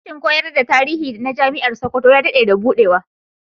Sashin koyar da tarihi na Jami'ar Sokoto ya daɗe da buɗewa.